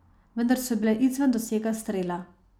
Vendar so bile izven dosega strela.